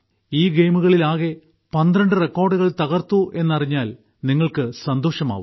ഈ ഗെയിമുകളിൽ ആകെ 12 റെക്കോർഡുകൾ തകർത്തുവെന്ന് അറിഞ്ഞാൽ നിങ്ങൾക്ക് സന്തോഷമാവും